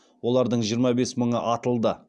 олардың жиырма бес мыңы атылды